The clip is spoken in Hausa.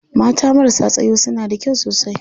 Mata marasa tsayo suna da kyau sosai.